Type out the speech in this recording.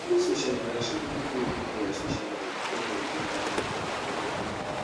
during social interaction people fit improve their social life when dem dey part of environmental groups